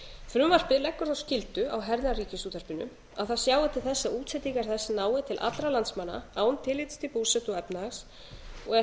frumvarpið leggur þá skyldu á herðar ríkisútvarpinu að það sjái til þess að útsendingar þess nái til allra landsmanna án tillits til búsetu og efnahags og er það